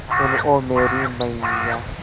सुन ओ मेरी मैय्या